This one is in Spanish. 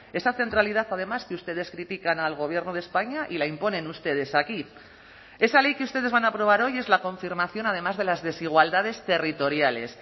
esa centralidad además que ustedes critican al gobierno de españa y la imponen ustedes aquí esa ley que ustedes van a aprobar hoy es la confirmación además de las desigualdades territoriales